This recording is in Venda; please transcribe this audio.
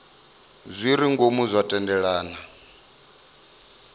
zwi re ngomu zwa thendelano